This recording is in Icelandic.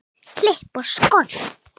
Klippt og skorið.